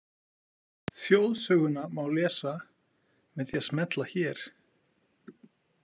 Þjóðsöguna má lesa með því að smella hér.